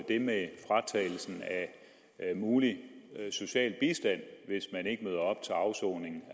det med fratagelsen af mulig social bistand hvis man ikke møder op til afsoning